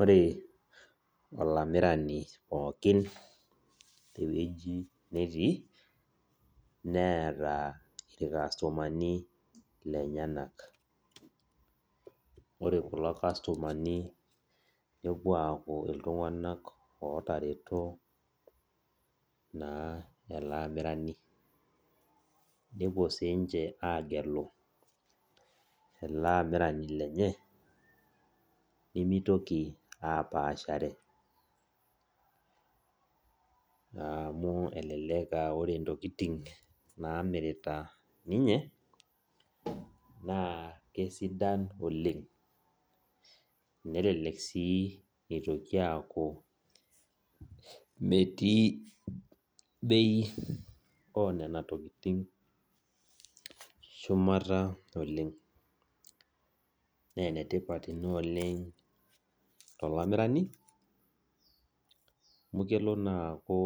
Ore olamirani pooki tewuei netii neeta irkastomani lenyenak ore kuna kastomani nepuo aaku ltunganak otareto ele amirani nepuo sinche agelu ele amirani lenye nemitoki apashare amu elelek aa ore ntokitin namirita ninche na kesidai oleng nelek si itoki aaku metii bei onana tokitin shumata oleng na enetipat inaolemg tolamirani amu kelo naa aku